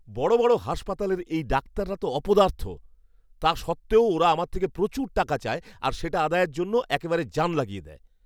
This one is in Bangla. বড় বড় হাসপাতালের এই ডাক্তাররা তো অপদার্থ, তা সত্ত্বেও ওরা আমার থেকে প্রচুর টাকা চায় আর সেটা আদায়ের জন্য একেবারে জান লাগিয়ে দেয়।